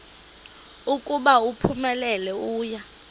ukuba uphumelele uya